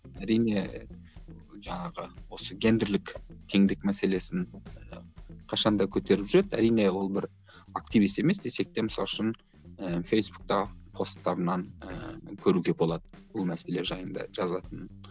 әрине жаңағы осы гендірлік теңдік мәселесін қашан да көтеріп жүреді әрине ол бір активист емес десек те мысалы үшін ыыы фейсбуктағы постарынан ыыы көруге болады бұл мәселе жайында жазатын